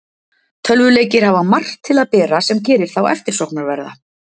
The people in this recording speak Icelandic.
Tölvuleikir hafa margt til að bera sem gerir þá eftirsóknarverða.